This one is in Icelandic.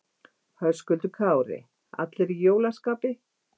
Höskuldur Kári: Allir í jólaskapi?